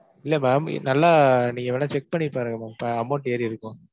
இல்ல ma'am நல்லா நீங்க வேணா check பண்ணி பாருங்க ma'am அஹ் amount ஏறி இருக்கும்.